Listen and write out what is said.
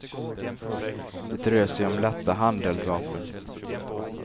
Det rör sig om lätta handeldvapen.